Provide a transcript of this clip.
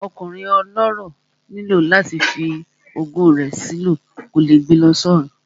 Ọkùnrin ọlọ́rọ̀ nílò láti fi ogún rẹ̀ sí lọ, kò lè gbe lọ sọ́run